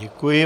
Děkuji.